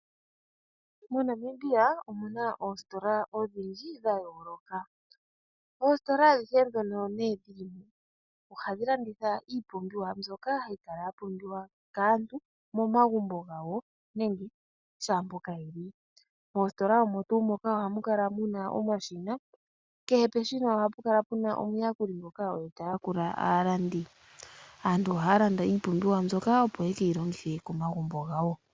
MoNamibia omu na oositola odhindji dha yooloka. Oositola adhihe ndhono dhi li mo ohadhi landitha iipumbiwa ya yooloka mbyoka ya pumbiwa kaantu momagumbo gawo nenge shaampoka ye li. Moositola omo tuu moka ohamu kala mu na omashina, kehe peshina ohapu kala pu na omuyakuli ngoka oye ta yakula aalandi. Aantu ohaya landa iipumbiwa mbyoka, opo ye ke yi longithe komagumbo gawo.